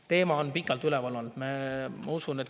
Teema on pikalt üleval olnud.